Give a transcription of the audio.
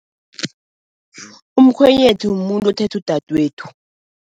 Umkhwenyethu mumuntu othethe udadwethu.